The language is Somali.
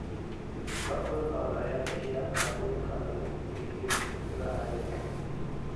Lo'da lo'da ayaa bixiya alaabooyinka lagu iibiyo suuqyada caalamiga ah.